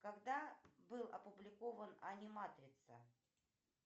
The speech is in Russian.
когда был опубликован аниматрица